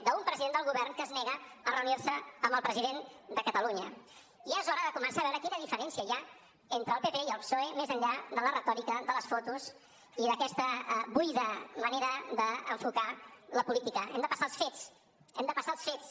d’un president del govern que es nega a reunir se amb el president de catalunya ja és hora de començar a veure quina diferència hi ha entre el pp i el psoe més enllà de la retòrica de les fotos i d’aquesta buida manera d’enfocar la política hem de passar als fets hem de passar als fets